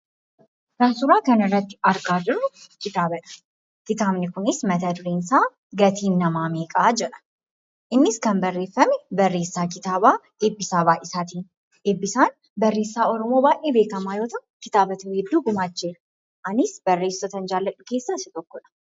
Kan suuraa kanarratti argaa jirru kitaabadha. Kitaabni kunis matadureen isaa "GATIIN NAMAA MEEQA? " jedha. Innis kan barreeffame barreessaa kitaabaa Eebbisaa Baay'isaatiini. Ebbisaan barreessaa Oromoo baay'ee beekamaa yoo ta'u kitaabota hedduu gumaacheera. Anis barreessitoota an jaalladhu keessaa isa tokkodha.